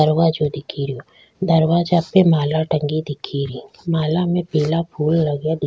दरवाजो दिखे रो दरवाजा पे माला टंगी दिखे री माला में पीला फूल लगा दि --